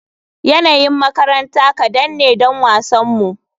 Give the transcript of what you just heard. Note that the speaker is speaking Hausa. Yanayin makaranta kadan ne don wasanmu.